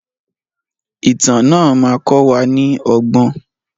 Ìtàn náà má kọ wa ní ọgbọ́n.